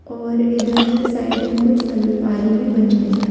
ओर इधर साइड में कूछ अलमारी भी बनी हुई है।